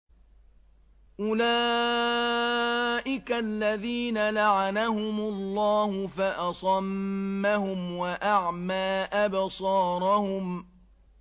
أُولَٰئِكَ الَّذِينَ لَعَنَهُمُ اللَّهُ فَأَصَمَّهُمْ وَأَعْمَىٰ أَبْصَارَهُمْ